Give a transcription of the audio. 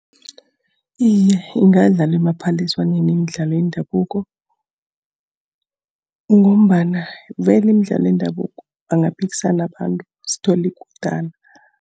Iye, ingadlalwa emaphaliswaneni imidlalo yendabuko. Ngombana vele imidlalo yendabuko bangaphikisana abantu, sithole ikutana.